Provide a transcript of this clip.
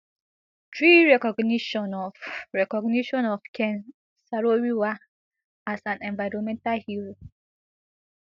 three recognition of recognition of ken sarowiwa as an environmental hero